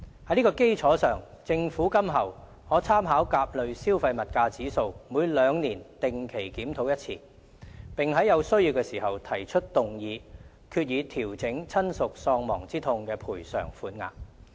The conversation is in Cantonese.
在這基礎上，政府今後可參考甲類消費物價指數，每兩年定期檢討一次，並在有需要時提出議案，決議調整親屬喪亡之痛賠償款額。